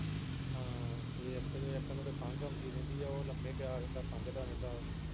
ਹਾਂ ਤੇ ਇਕ ਨੂੰ ਤੇ ਖੰਘ ਆਉਦੀ ਰਹਿੰਦੀ ਉਹ ਲੰਮੇ ਪਿਆ ਰਹਿੰਦਾ ਖੰਘਦਾ ਰਹਿੰਦਾ ਵਾ